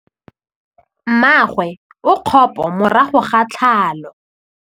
Mmagwe o kgapô morago ga tlhalô.